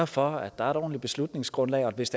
for at der er et ordentligt beslutningsgrundlag og hvis